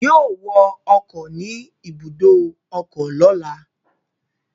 Yóò wọ ọkọ̀ ni ibùdó ọkọ lọ́la